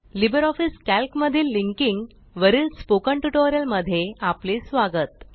Libre office Calc मधील linking वरील spoken tutorial मध्ये आपले स्वागत